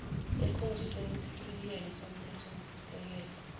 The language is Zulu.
ekhonjiswe kwisichibiyelo somthethosisekelo